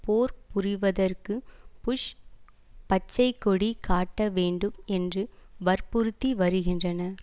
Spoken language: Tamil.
போர் புரிவதற்கு புஷ் பச்சை கொடி காட்டவேண்டும் என்று வற்புறுத்தி வருகின்றனர்